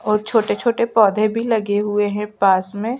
और छोटे-छोटे पौधे भी लगे हुए है पास में--